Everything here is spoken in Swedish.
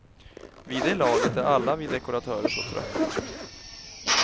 Vid det laget är alla vi dekoratörer så trötta.